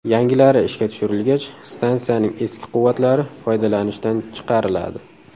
Yangilari ishga tushirilgach, stansiyaning eski quvvatlari foydalanishdan chiqariladi.